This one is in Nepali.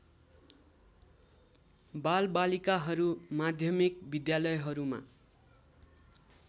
बालबालिकाहरू माध्यमिक विद्यालयहरूमा